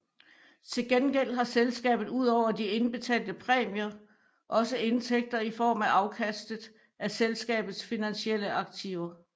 Til gengæld har selskabet udover de indbetalte præmier også indtægter i form af afkastet af selskabets finansielle aktiver